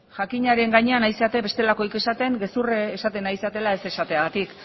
jakinaren gainean ari zarete bestelakorik esaten gezurra esaten ari zaretela ez esateagatik